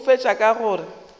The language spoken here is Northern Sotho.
a fetša ka go re